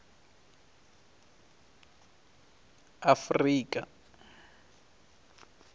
afrika